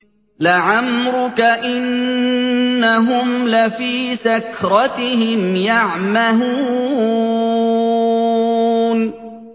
لَعَمْرُكَ إِنَّهُمْ لَفِي سَكْرَتِهِمْ يَعْمَهُونَ